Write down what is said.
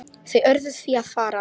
Þau urðu því að fara.